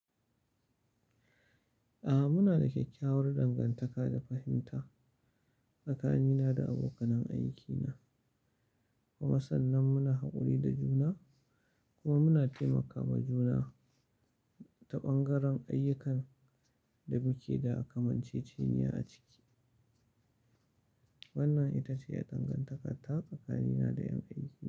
A'a muna da kyakkyawar dangantaka da fahimta tsakanina da abokanan aikina. Kuma san nan muna haƙuri da juna kuma muna taimakawa juna ta ɓangaren ayyukan da muke da a kamanceceniya a ciki. Wannan ita ce dangantaka ta kakannina da ƴan aikina.